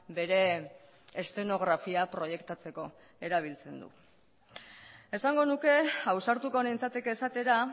bere eszenografia proiektatzeko erabiltzen du esango nuke ausartuko nintzateke esatera